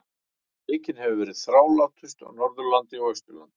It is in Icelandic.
Veikin hefur verið þrálátust á Norðurlandi og Austurlandi.